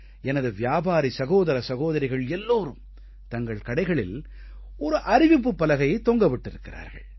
எனது வியாபாரி சகோதர சகோதரிகள் எல்லோரும் தங்கள் கடைகளில் ஒரு அறிவிப்புப் பலகையைத் தொங்க விட்டிருக்கிறார்கள்